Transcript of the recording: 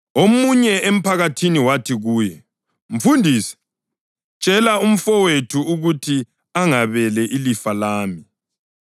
Omunye emphakathini wathi kuye, “Mfundisi, tshela umfowethu ukuthi angabele ilifa lami.”